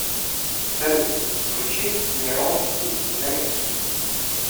салют включи неронски заметки